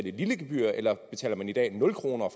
et lille gebyr eller betaler man i dag nul kroner og